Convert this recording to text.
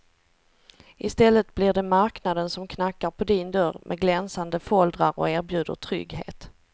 Istället blir det marknaden som knackar på din dörr med glänsande foldrar och erbjuder trygghet.